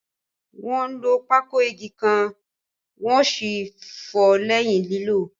Wọ́n lo pákó ígè ǹkan wọ́n sì fọ̀ọ́ lẹ́yìn lílò.